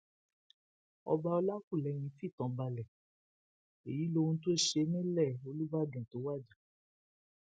ọba ọlàkúlẹyìn fìtàn balẹ èyí lohun tó ṣe nílẹ olùbàdàn tó wájà